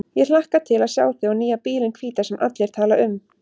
Ég hlakka til að sjá þig og nýja bílinn hvíta sem allir tala um.